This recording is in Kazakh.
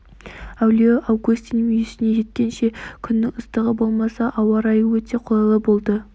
әулие августин мүйісіне жеткенше күннің ыстығы болмаса ауа райы өте қолайлы болды